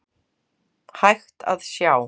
hægt að sjá.